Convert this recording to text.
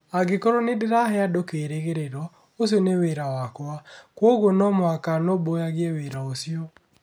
Angĩkorũo nĩ ndĩrahe andũ kĩĩrĩgĩrĩro, ũcio nĩ wĩra wakwa. Kwoguo no mũhaka nũmbũyagie wĩra ũcio.